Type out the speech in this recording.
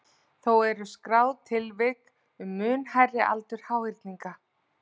Þó eru skráð tilvik um mun hærri aldur háhyrninga.